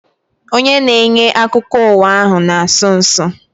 Onye na-enye akụkọ ụwa ahu na-asụ nsụ